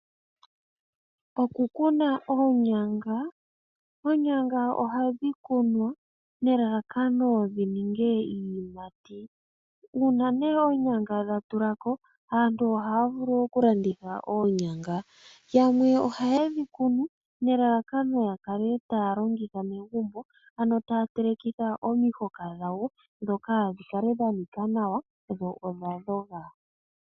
Oku kuna oonyanga, oonyanga oha dhi kunwa ne lalakano dhi ninge iiyimati. Uuna nee oonyanga dha tulako, aantu oha ya vulu oku landitha oonyanga. Yamwe ohaye dhi kunu nelalakano ya kale taya longitha megumbo, ano taya telekitha omihoka dhawo, dhoka dhi kale dha nika nawa dho odha dhoga.